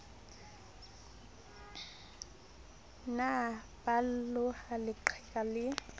ne ba loha leqheka lee